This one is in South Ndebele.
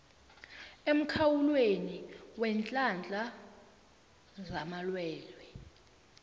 emkhawulweni weenhlahla zamalwelwe